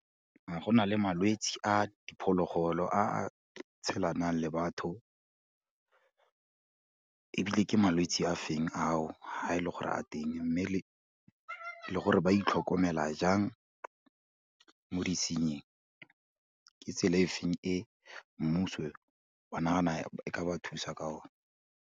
A go na le malwetsi a diphologolo a a tshelanang le batho, ebile ke malwetsi a feng ao, ha e le gore a teng, mme le gore ba itlhokomela jang mo disenying, ke tsela e feng e mmuso ba nagana e ka ba thusa ka o ne.